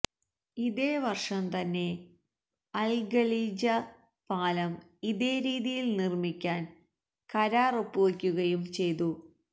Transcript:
ഇതേ വർഷം തന്നെ അൽഖലീജ് പാലം ഇതേ രീതിയിൽ നിർമിക്കാൻ കരാറൊപ്പുവെക്കുകയും ചെയ്തു